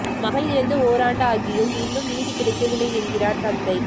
மகள் இறந்து ஓராண்டு ஆகியும் இன்னும் நீதி கிடைக்கவில்லை என்கிறார் தந்தை